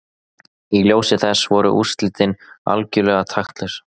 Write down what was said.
Í ljósi þess voru úrslitin algjörlega taktlaus!